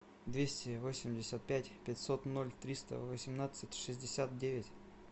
двести восемьдесят пять пятьсот ноль триста восемнадцать шестьдесят девять